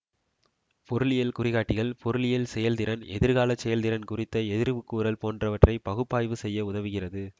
பொருளியல் குறிகாட்டிகள் பொருளியல் செயல் திறன் எதிர்காலச் செயல் திறன் குறித்த எதிர்வுகூறல் போன்றவற்றை பகுப்பாய்வு செய்ய உதவுகிறது